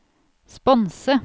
sponse